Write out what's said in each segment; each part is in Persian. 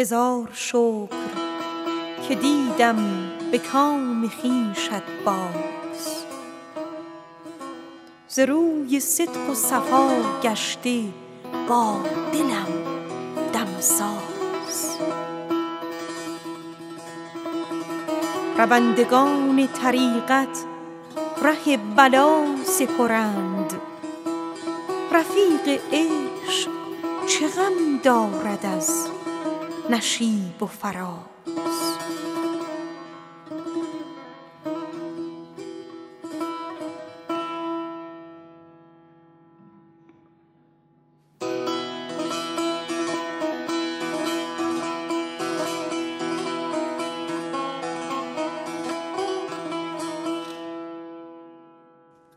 هزار شکر که دیدم به کام خویشت باز ز روی صدق و صفا گشته با دلم دمساز روندگان طریقت ره بلا سپرند رفیق عشق چه غم دارد از نشیب و فراز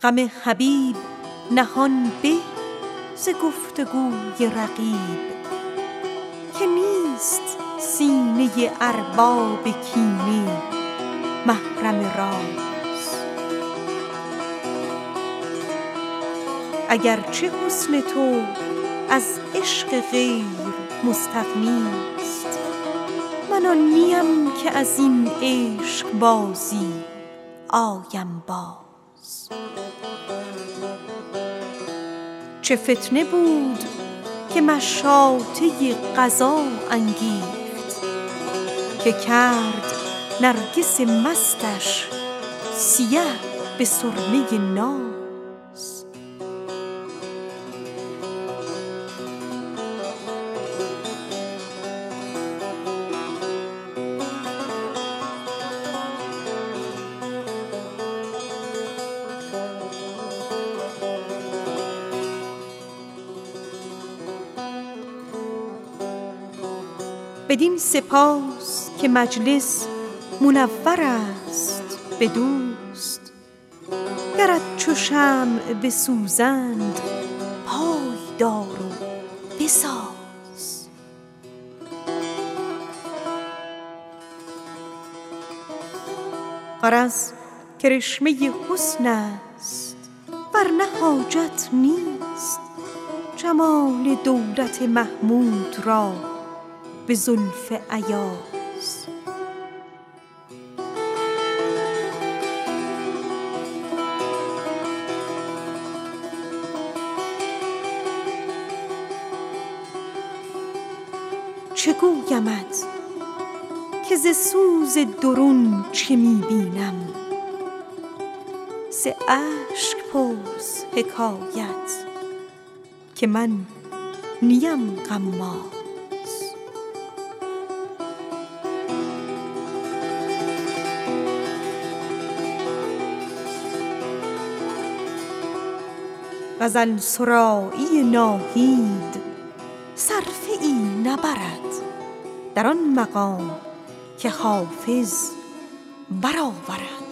غم حبیب نهان به ز گفت و گوی رقیب که نیست سینه ارباب کینه محرم راز اگر چه حسن تو از عشق غیر مستغنی ست من آن نیم که از این عشق بازی آیم باز چه گویمت که ز سوز درون چه می بینم ز اشک پرس حکایت که من نیم غماز چه فتنه بود که مشاطه قضا انگیخت که کرد نرگس مستش سیه به سرمه ناز بدین سپاس که مجلس منور است به دوست گرت چو شمع جفایی رسد بسوز و بساز غرض کرشمه حسن است ور نه حاجت نیست جمال دولت محمود را به زلف ایاز غزل سرایی ناهید صرفه ای نبرد در آن مقام که حافظ برآورد آواز